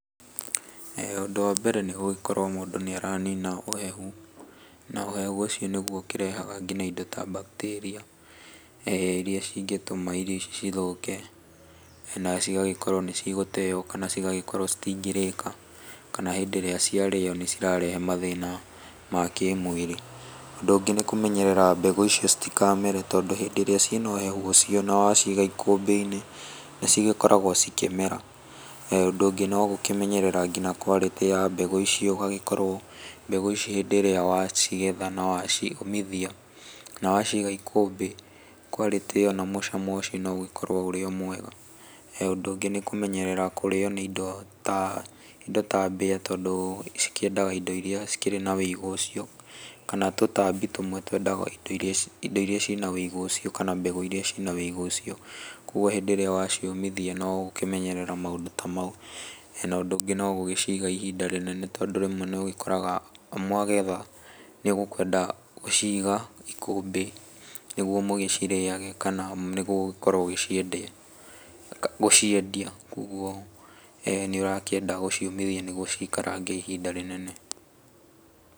Ũndũ wa mbere nĩ gũgĩkorwo mũndũ nĩ aranina ũhehu na ũhehu ũcio nĩguo ũkĩrehaga ngina indo ta bacteria irĩa cingĩtũma irio ici cithũke na cigagĩkorwo nĩ cigũteyo, kana cigagĩkorwo citingĩrĩka, kana hĩndĩ ĩrĩa cia rĩo nĩ cirarehe mathĩna ma kĩmwĩrĩ. Ũndũ ũngĩ nĩ kũmenyerera mbegũ icio citikamere, tondũ hĩndĩ ĩrĩa ciĩna ũhehu ũcio na waciiga ikũmbĩ-inĩ nĩ cigĩkoragwo cikĩmera. Ũndũ ũngĩ no gũkĩmenyerera ngĩnya quality ya mbegũ icio, ũgagĩkorwo mbegũ ici hĩndĩ ĩrĩa wacigetha na wa ciũmithia, na waciiga ikũmbĩ, quality ĩyo na mũcamo ũcio no ũgĩkorwo ũrĩ o mwega. Ũndũ ũngĩ nĩ kũmenyerera kũrĩo nĩ indo ta mbea, tondũ cikĩendaga indo iria cikĩrĩ na wũigũ ũcio kana tũtambi tũmwe twendaga indo iria ci ĩna wũigũ ũcio, kana mbegũ irĩa ci ĩna wũigũ ũcio. Koguo hĩndĩ ĩrĩa wa ciũmithia nĩ ũgũkĩmenyerera maũndũ ta mau. Na ũndũ ũngĩ no gũgĩciiga ihinda inene, tondũ rĩmwe nĩ ũgĩkoraga mwagetha nĩ ũkwenda gũciiga ikũmbĩ nĩguo mũgĩcirĩage, kana nĩguo ũkorwo ũgĩciendia, gũciendia. Koguo nĩ ũrakĩenda gũciũmithia nĩguo ciikaragange ihinda inene.